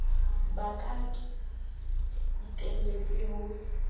ba ka ke iteletse ho